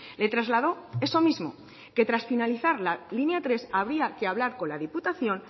le trasladó eso mismo que tras finalizar la línea tres habría que hablar con la diputación